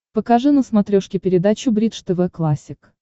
покажи на смотрешке передачу бридж тв классик